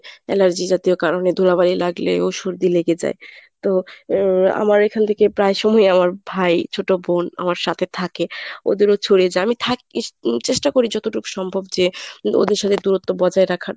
allergy জাতীয় কারণে ধুলাবালি লাগলেও সর্দি লেগে যায়। তো এর আমার এখান থেকে প্রায়সময় আমার ভাই, ছোটবোন আমার সাথে থাকে ওদেরও ছড়িয়ে যায় আমি চেষ্টা করি যতটুক সম্ভব যে ওদের সঙ্গে দূরত্ব বজায় রাখার।